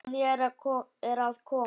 Sonja er að koma.